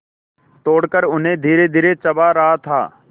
तोड़कर उन्हें धीरेधीरे चबा रहा था